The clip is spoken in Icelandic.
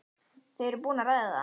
Þau eru búin að ræða það.